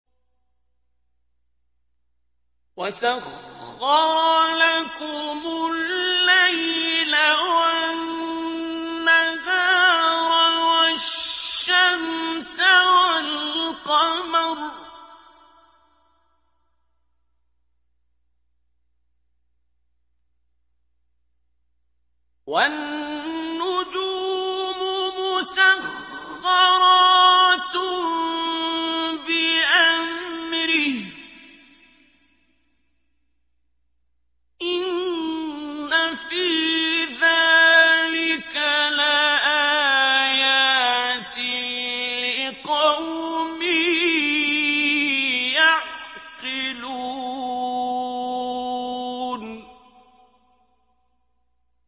وَسَخَّرَ لَكُمُ اللَّيْلَ وَالنَّهَارَ وَالشَّمْسَ وَالْقَمَرَ ۖ وَالنُّجُومُ مُسَخَّرَاتٌ بِأَمْرِهِ ۗ إِنَّ فِي ذَٰلِكَ لَآيَاتٍ لِّقَوْمٍ يَعْقِلُونَ